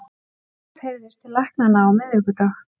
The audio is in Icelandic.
Síðast heyrðist til læknanna á miðvikudag